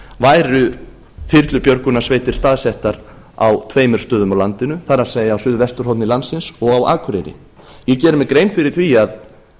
væru þyrlubjörgunarsveitir staðsettar á tveimur stöðum á landinu það er á suðvesturhorni landsins og á akureyri ég geri mér grein fyrir því að